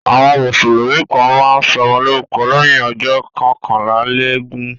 Àwọn Mùsùlùmí kàn máa ń sọmọ lórúkọ lẹ́yìn ọjọ́ kọkànlélógún